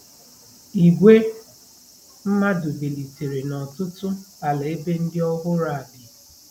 ìgwè mmadụ bilitere n'ọtụtụ ala ebe ndị ọhụrụ a bi.